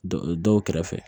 Dɔ dɔw kɛrɛfɛ